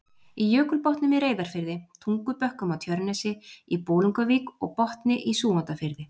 í Jökulbotnum í Reyðarfirði, Tungubökkum á Tjörnesi, í Bolungarvík og Botni í Súgandafirði.